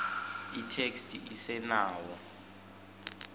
itheksthi isenawo